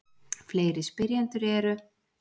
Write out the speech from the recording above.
Fleiri spyrjendur eru: